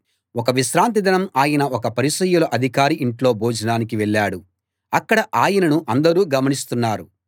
ఒక విశ్రాంతి దినం ఆయన ఒక పరిసయ్యుల అధికారి ఇంట్లో భోజనానికి వెళ్ళాడు అక్కడ ఆయనను అందరూ గమనిస్తున్నారు